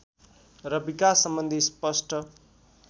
र विकास सम्बन्धी स्पष्ट